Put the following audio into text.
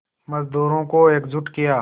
मज़दूरों को एकजुट किया